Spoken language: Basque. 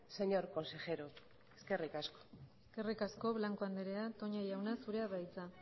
señor consejero eskerrik asko eskerrik asko blanco andrea toña jauna zurea da hitza